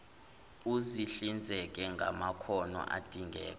uzihlinzeke ngamakhono adingeka